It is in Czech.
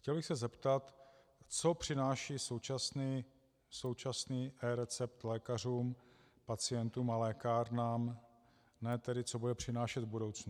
Chtěl bych se zeptat, co přináší současný recept lékařům, pacientům a lékárnám, ne tedy, co bude přinášet v budoucnu.